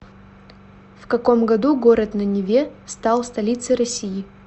в каком году город на неве стал столицей россии